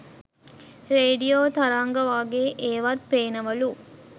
radio තරංග වගේ ඒවත් පේනවලු